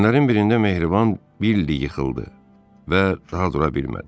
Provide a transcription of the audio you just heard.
Günlərin birində Mehriban Billi yıxıldı və daha dura bilmədi.